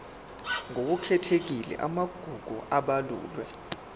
ngokukhethekile amagugu abalulwe